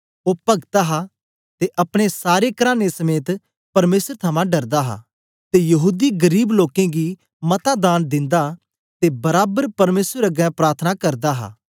ओ भक्त हा ते अपने सारे कराने समेत परमेसर थमां डरदा हा ते यहूदी गरीब लोकें गी मता दान दिंदा ते बराबर परमेसर अगें प्रार्थना करदा हा